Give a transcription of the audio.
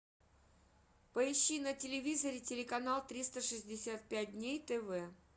поищи на телевизоре телеканал триста шестьдесят пять дней тв